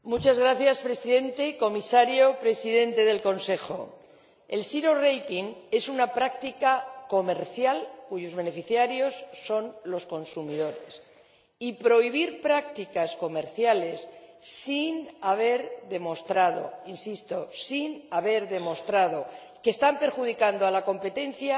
Señor Presidente, comisario, Presidente en ejercicio del Consejo, el es una práctica comercial cuyos beneficiarios son los consumidores, y prohibir prácticas comerciales sin haber demostrado ―insisto sin haber demostrado― que están perjudicando a la competencia